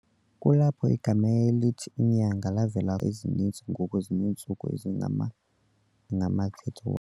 Kulapho igama elithi "inyanga" lavela khona, nangona iinyanga ezininzi ngoku zineentsuku ezingama ngama-30